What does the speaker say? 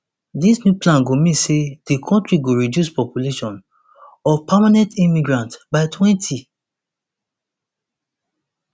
dis new plan go mean say di kontri go reduce population of permanent immigrants by twenty